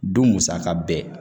Don musaka bɛɛ